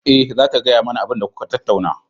Eh, zata gaya mani abinda kuka tattauna.